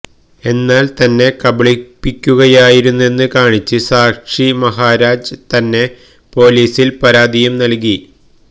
എന്നാല് തന്നെ കബളിപ്പിക്കുയായിരുന്നെന്ന് കാണിച്ച് സാക്ഷി മഹാരാജ് തന്നെ പൊലീസില് പരാതിയും നല്കി